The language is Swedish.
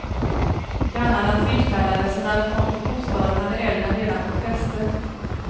Grannarna tillkallades och när de kom till bostaden hade elden redan fått fäste.